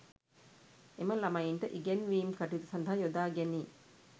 එම ළමයින්ට ඉගැන්වීම් කටයුතු සඳහා යොදා ගැනේ